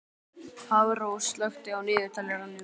Hafrós, slökktu á niðurteljaranum.